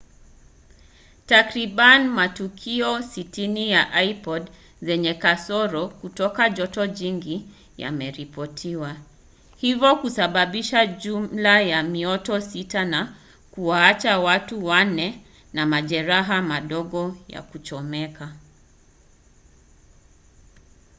takriban matukio 60 ya ipod zenye kasoro kutoa joto jingi yameripotiwa hivyo kusababisha jumla ya mioto sita na kuwaacha watu wanne na majeraha madogo ya kuchomeka